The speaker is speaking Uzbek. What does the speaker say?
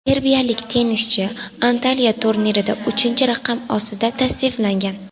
Serbiyalik tennischi Antaliya turnirida uchinchi raqam ostida tasniflangan.